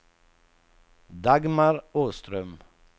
Dagmar Åström